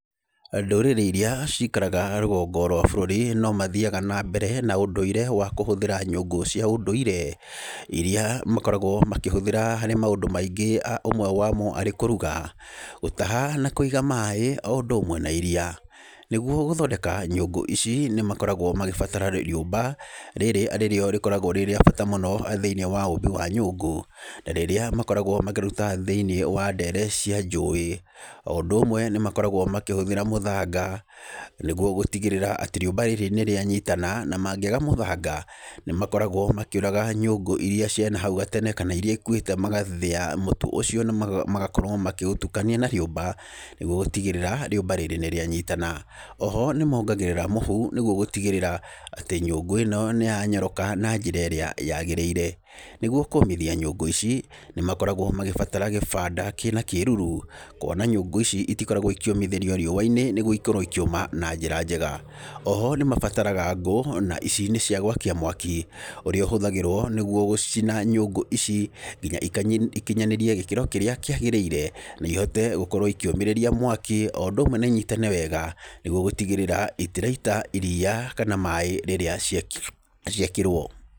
Ndũrĩrĩ irĩa cikaraga rũgongo rwa bũrũri no mathĩaga na mbere na ũndũire wa kũhũthĩra nyũngũ cia ũndũire, irĩa makoragwo makĩhũthĩra harĩ maũndũ maingĩ. Ũmwe wamo arĩ kũruga, gũtaha, na kũiga maaĩ, o ũndũ ũmwe na iria. Nĩgũo gũthondeka nyũngũ ici nĩ makoragwo magĩbatara rĩũmba, rĩrĩ arĩrĩo rĩkoragwo rĩrĩa bata mũno thĩinĩ wa ũmbi wa nyũngũ. Rĩrĩa makoragwo makĩruta ndere-inĩ cia njũĩ. O ũndũ ũmwe nĩ makoragwo makĩhũthĩra mũthanga, nĩgũo gũtĩgĩrĩra atĩ rĩũmba rĩrĩ nĩ rĩanyitana. Na mangĩaga mũthanga , nĩ makoragwo makĩũraga nyũngũ iria cia nahau gatene, kana iria ikũĩte magathĩa mũtũ ũcio, na magakorwo makĩũtukania na rĩũmba, nĩgũo gũtĩgĩrĩra rĩũmba rĩrĩ nĩ rĩanyitana. Oho nĩ mongagĩrĩra mũhu nĩgũo gũtĩgĩrĩra atĩ nyũngũ ĩno nĩ yanyoroka na njĩra ĩrĩa yagĩrĩire. Nĩgũo kũmĩthia nyũngũ ici, nĩ makoragwo magĩbatara gĩbanda kĩna kĩruru, kũona nyũngũ ici itikoragwo ikĩũmithĩrio riũa-inĩ nĩgũo ikorwo ikĩũma na njĩra njega. Oho nĩ mabataraga ngũ, na ici nĩ cia gwakia mwaki ũrĩa ũhũthagĩrwo nĩgũo gũcina nyũngũ ici nginya ikinyanerie gĩkĩro kĩrĩa kĩagĩrĩire. Na ihote gũkorwo ikĩũmĩrĩria mwaki, o ũndũ ũmwe na inyitane wega nĩgũo gũtĩgĩrĩra itĩraita iria, kana maaĩ rĩrĩa ciekĩrwo.